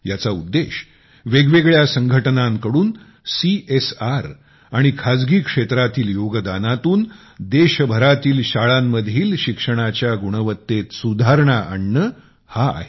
याचा उद्देश वेगवेगळ्या संघटनांच्याकडूनCSR आणि खाजगी क्षेत्रातील योगदानातून देशभरातील शाळांमधील शिक्षणाच्या गुणवत्तेत सुधारणा आणणे हा आहे